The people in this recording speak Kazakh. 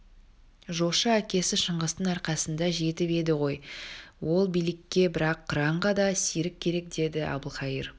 жошы әкесі шыңғыстың арқасында жетіп еді ғой ол билікке бірақ қыранға да серік керек деді әбілқайыр